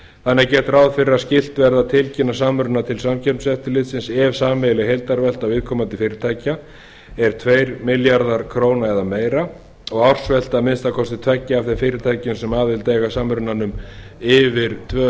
þannig er gert ráð fyrir að skylt verði að tilkynna samruna til samkeppniseftirlitsins ef sameiginleg heildarvelta viðkomandi fyrirtækja er tveir milljarðar króna eða meira og ársvelta að minnsta kosti tveggja af þeim fyrirtækjum sem aðild eiga að samrunanum yfir tvö